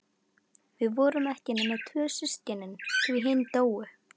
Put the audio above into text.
Við vorum ekki nema tvö systkinin, því hin dóu.